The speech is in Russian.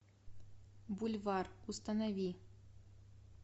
бульвар установи